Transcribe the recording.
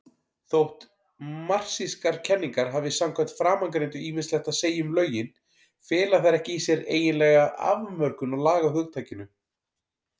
Þótt marxískar kenningar hafi samkvæmt framangreindu ýmislegt að segja um lögin, fela þær ekki í sér eiginlega afmörkun á lagahugtakinu.